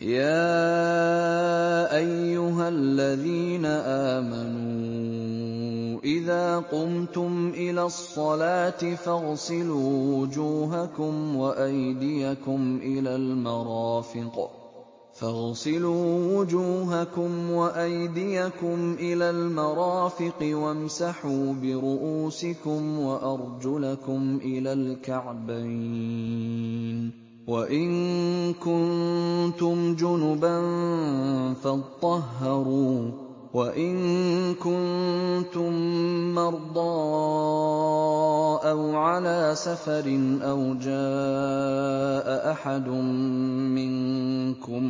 يَا أَيُّهَا الَّذِينَ آمَنُوا إِذَا قُمْتُمْ إِلَى الصَّلَاةِ فَاغْسِلُوا وُجُوهَكُمْ وَأَيْدِيَكُمْ إِلَى الْمَرَافِقِ وَامْسَحُوا بِرُءُوسِكُمْ وَأَرْجُلَكُمْ إِلَى الْكَعْبَيْنِ ۚ وَإِن كُنتُمْ جُنُبًا فَاطَّهَّرُوا ۚ وَإِن كُنتُم مَّرْضَىٰ أَوْ عَلَىٰ سَفَرٍ أَوْ جَاءَ أَحَدٌ مِّنكُم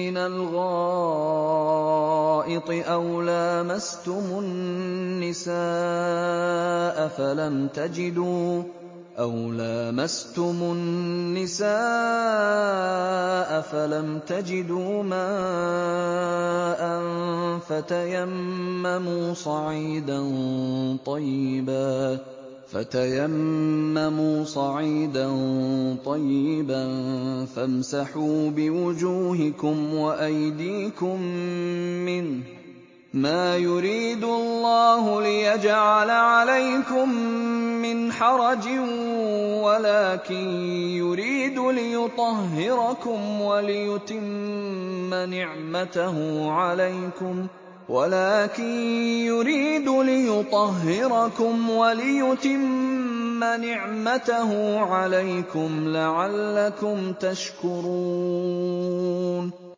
مِّنَ الْغَائِطِ أَوْ لَامَسْتُمُ النِّسَاءَ فَلَمْ تَجِدُوا مَاءً فَتَيَمَّمُوا صَعِيدًا طَيِّبًا فَامْسَحُوا بِوُجُوهِكُمْ وَأَيْدِيكُم مِّنْهُ ۚ مَا يُرِيدُ اللَّهُ لِيَجْعَلَ عَلَيْكُم مِّنْ حَرَجٍ وَلَٰكِن يُرِيدُ لِيُطَهِّرَكُمْ وَلِيُتِمَّ نِعْمَتَهُ عَلَيْكُمْ لَعَلَّكُمْ تَشْكُرُونَ